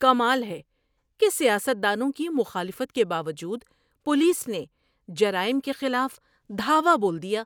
کمال ہے کہ سیاست دانوں کی مخالفت کے باوجود پولیس نے جرائم کے خلاف دھاوا بول دیا!